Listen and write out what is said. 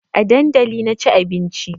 A dandali na ci abinci